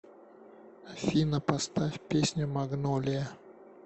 афина поставь песню магнолия